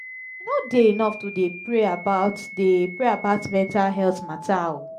e no dey enough to dey pray about dey pray about mental healt mata o.